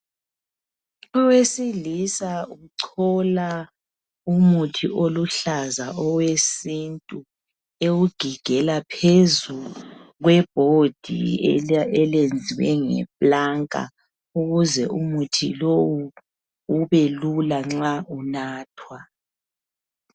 Owesilisa uchola umuthi oluhlaza owesintu ewugigela phezu kwe board elenziwe ngeplanka ukuze ukuthi umuthi lowu ubelula nxa unathwa